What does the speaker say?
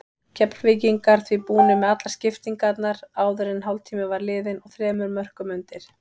Keflvíkingar því búnir með allar skiptingarnar áður en hálftími var liðinn og þremur mörkum undir.